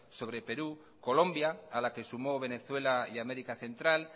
sobre perú colombia a la que sumó venezuela y américa central